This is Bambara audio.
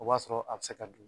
O b'a sɔrɔ a bi se ka don